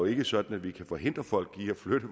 ikke er sådan at vi kan forhindre folk i at flytte